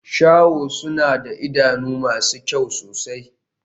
Shaho suna da idanu masu kyau sosai.